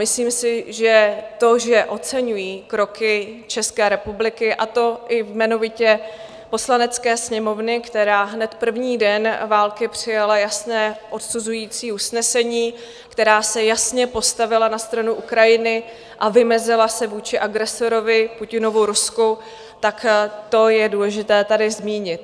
Myslím si, že to, že oceňují kroky České republiky, a to i jmenovitě Poslanecké sněmovny, která hned první den války přijala jasné odsuzující usnesení, kterým se jasně postavila na stranu Ukrajiny a vymezila se vůči agresorovi, Putinovu Rusku, tak to je důležité tady zmínit.